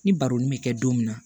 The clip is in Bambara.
Ni baroni bɛ kɛ don min na